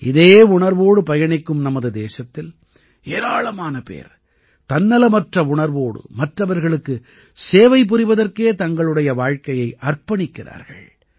இதே உணர்வோடு பயணிக்கும் நமது தேசத்தில் ஏராளமான பேர் தன்னலமற்ற உணர்வோடு மற்றவர்களுக்கு சேவை புரிவதற்கே தங்களுடைய வாழ்க்கையை அர்ப்பணிக்கிறார்கள்